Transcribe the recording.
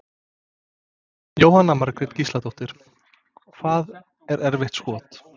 Jóhanna Margrét Gísladóttir: Hvað er erfitt skot?